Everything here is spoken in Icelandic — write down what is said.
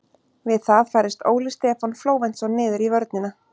Við það færðist Óli Stefán Flóventsson niður í vörnina.